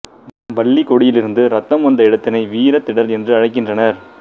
வல்லிக் கொடியிலிருந்து ரத்தம் வந்த இடத்தினை வீரத்திடல் என்று அழைக்கின்றனர்